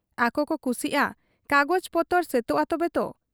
ᱟᱠᱚᱠᱚ ᱠᱩᱥᱤᱜ ᱟ' ᱠᱟᱜᱚᱡᱽ ᱯᱚᱛᱚᱨ ᱥᱟᱹᱛᱚᱜ ᱟ ᱛᱚᱵᱮᱛᱚ ᱾